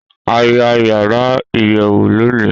A ya yara iyẹwu loni